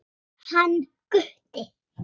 Hann Gutti?